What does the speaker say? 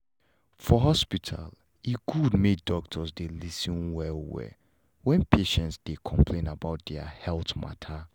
for hospital e good make doctors dey lis ten well well when patient dey complain about their health matter